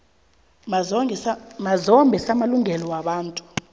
mazombe samalungelo wabantu